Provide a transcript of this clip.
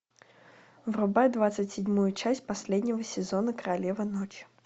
врубай двадцать седьмую часть последнего сезона королева ночи